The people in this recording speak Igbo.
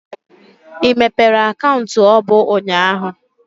I mepere akaụntụ ọbụ ụnyaahụ?